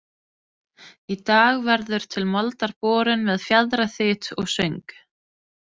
Í dag verður til moldar borin með fjaðraþyt og söng